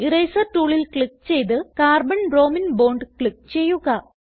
eraser ടൂളിൽ click ചെയ്ത് carbon ബ്രോമിനെ ബോണ്ട് ക്ലിക്ക് ചെയ്യുക